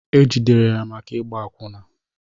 E jidere ya maka ịgba akwụna